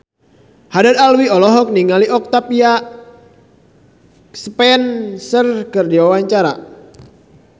Haddad Alwi olohok ningali Octavia Spencer keur diwawancara